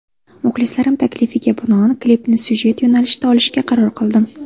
Muxlislarim taklifiga binoan klipni syujet yo‘nalishida olishga qaror qildim.